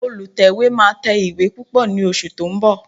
Olùtẹ̀wé máa tẹ ìwé púpọ̀ ní oṣù tó ń bọ̀